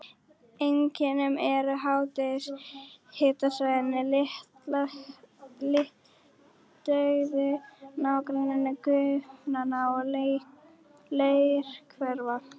Einkum eru háhitasvæðin litauðug í nágrenni gufuaugna og leirhvera.